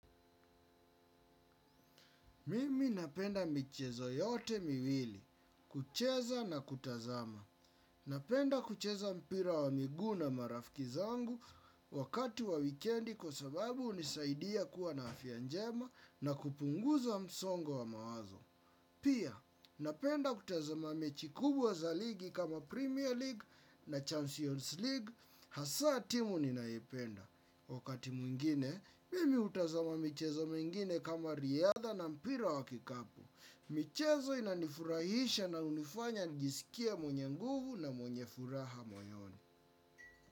Mimi napenda michezo yote miwili, kucheza na kutazama. Napenda kucheza mpira wa miguu na marafiki zangu wakati wa wikendi kwa sababu hunisaidia kuwa na afya njema na kupunguza msongo wa mawazo. Pia, napenda kutazama mechi kubwa za ligi kama Premier League na Champions League, hasa timu ninaipenda. Wakati mwingine, mimi hutazama michezo mengine kama riadha na mpira wa kikapu. Michezo inanifurahisha na hunifanya nijisikie mwenye nguvu na mwenye furaha moyoni.